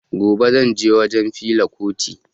Gobe zan je wajen fela kuti